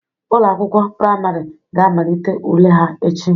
Ụlọ akwụkwọ priamarị ga amalite ule ha echi.